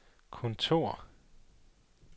kontor